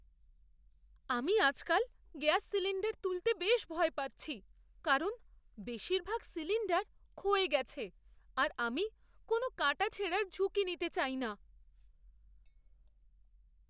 আমি আজকাল gas cylinder তুলতে বেশ ভয় পাচ্ছি কারণ বেশিরভাগ সিলিণ্ডার ক্ষয়ে গেছে আর আমি কোনো কাটাছেঁড়ার ঝুঁকি নিতে চাই না।